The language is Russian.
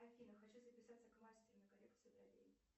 афина хочу записаться к мастеру на коррекцию бровей